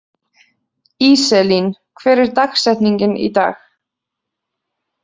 Íselín, hver er dagsetningin í dag?